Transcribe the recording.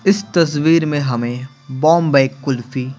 इस तस्वीर में हमें बॉम्बई कुल्फी --